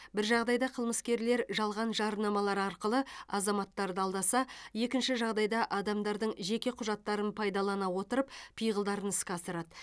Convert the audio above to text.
бір жағдайда қылмыскерлер жалған жарнамалар арқылы азаматтарды алдаса екінші жағдайда адамдардың жеке құжаттарын пайдалана отырып пиғылдарын іске асырады